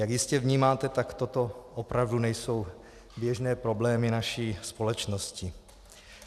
Jak jistě vnímáte, tak toto opravdu nejsou běžné problémy naší společnosti.